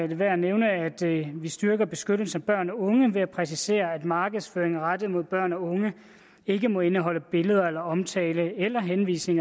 det værd at nævne at vi styrker beskyttelsen af børn og unge ved at præcisere at markedsføring rettet mod børn og unge ikke må indeholde billeder eller omtale eller henvisninger